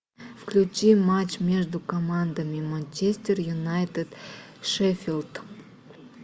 включи матч между командами манчестер юнайтед шеффилд